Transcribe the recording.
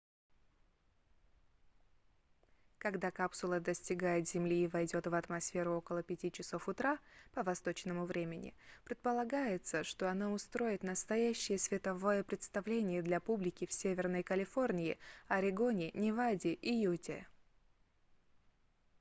когда капсула достигнет земли и войдет в атмосферу около 5 часов утра по восточному времени предполагается что она устроит настоящее световое представление для публики в северной калифорнии орегоне неваде и юте